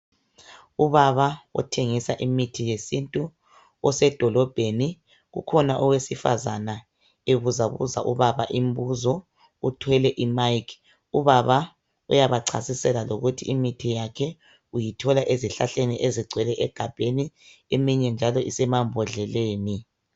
Ubaba othengisa imithi yesintu, isebhodleleni. Ukhona owesifazane obuzabuza ubaba umbuzo, uthwele imayikhi. Ubaba uyacasisela lokuthi imithi yakhe uyithola ezihlahleni. Igcwele emagabheni, eminye njalo isemabhodleleni.